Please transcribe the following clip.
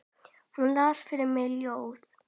Hún las fyrir mig ljóð.